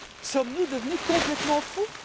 Sommes nous devenus complètement fous?